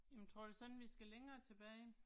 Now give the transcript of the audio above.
Jamen tror du så ikke vi skal længere tilbage?